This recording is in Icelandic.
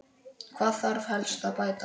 Hvað þarf helst að bæta?